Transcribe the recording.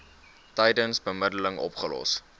tydens bemiddeling opgelos